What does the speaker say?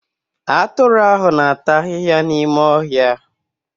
Atụrụ ahụ na-ata ahịhịa n'ime ọhịa